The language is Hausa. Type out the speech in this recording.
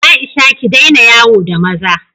Aisha, ki daina yawo da maza!